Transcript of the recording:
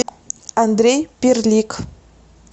андрей перлик